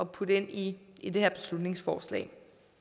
putte ind i det her beslutningsforslag